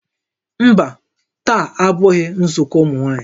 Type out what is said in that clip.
Mba, taa abụghị nzukọ ụmụ nwaanyị